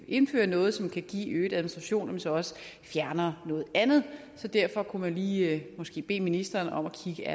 indfører noget som kan give øget administration så også fjerner noget andet så derfor kunne man måske lige bede ministeren om at kigge